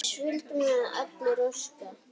Þess vildum við allir óska.